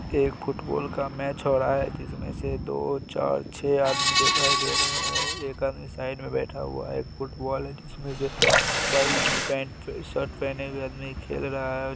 एक फुटबॉल का मैच हो रहा है जिसमें से दो चार छह आदमी दिखाई दे रहे हैं। एक आदमी साइड में बैठा हुआ है। एक फुटबॉल है जिसमें से एक व्हाइट पैंट - शर्ट पहने हुए आदमी खेल रहा है।